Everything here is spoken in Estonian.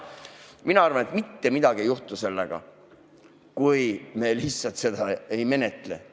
Mina arvan, et mitte midagi ei juhtu, kui me lihtsalt seda ei menetle.